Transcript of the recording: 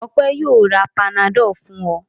Ọpẹ́ yóò ra Panadol fún ọ.